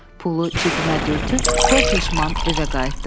Pulu cibimə dürtüb kor peşman evə qayıtdım.